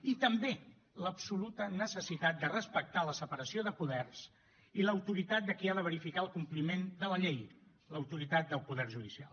i també l’absoluta necessitat de respectar la separació de poders i l’autoritat de qui ha de verificar el compliment de la llei l’autoritat del poder judicial